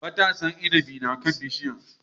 Matasan inabi yana kan bishiyar.